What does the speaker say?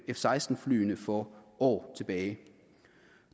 seksten flyene for år tilbage